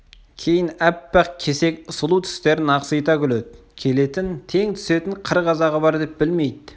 кейін аппақ кесек сұлу тістерін ақсита күледі келетін тең түсетін қыр қазағы бар деп білмейді